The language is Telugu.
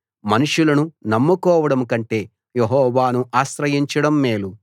మనుషులను నమ్ముకోవడం కంటే యెహోవాను ఆశ్రయించడం మేలు